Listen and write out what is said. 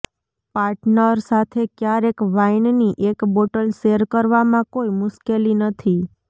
partner સાથે ક્યારેક વાઈનની એક બોટલ શેર કરવામાં કોઈ મુશ્કેલી નથી